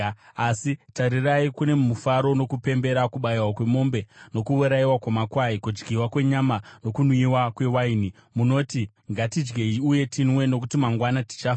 Asi tarirai, kune mufaro nokupembera, kubayiwa kwemombe nokuurayiwa kwamakwai, kudyiwa kwenyama nokunwiwa kwewaini! Munoti, “Ngatidyei uye tinwe, nokuti mangwana tichafa!”